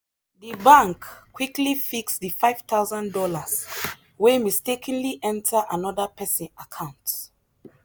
the bank quickly fix the five thousand dollars wey mistakenly enter another person account.